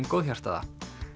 góðhjartaða